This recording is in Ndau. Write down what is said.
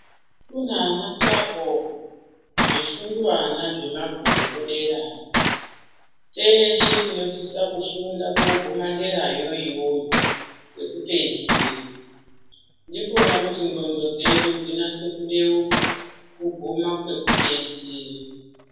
Kune ana sahoho zvisungwana zvemabhuku derayotehe tinosisa kufunda kooguma derayo iyoyo kwekupeisira ndikona kuti ndxondo dzedu dzinase kubeuka kuguma kwekupeisira.